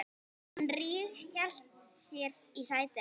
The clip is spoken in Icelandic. Hún ríghélt sér í sætið.